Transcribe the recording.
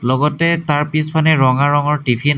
লগতে তাৰ পিছপানে ৰঙা ৰঙৰ টিফিন আ--